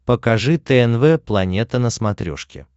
покажи тнв планета на смотрешке